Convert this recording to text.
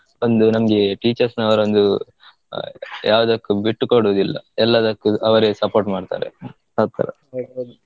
ಒಂದು ನಮ್ಗೆ teachers ನವ್ರು ಒಂದು ಆಹ್ ಯಾವ್ದಕ್ಕು ಬಿಟ್ಟು ಕೊಡೊದಿಲ್ಲ ಎಲ್ಲದಕ್ಕೂ ಅವ್ರೆ ಅವ್ರೆ support ಮಾಡ್ತರೆ ಆಥರ .